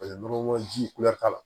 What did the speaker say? Paseke nɔnɔkɔnɔ ji kulɛri t'a la